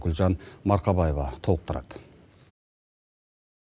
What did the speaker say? гүлжан марқабаева толықтырады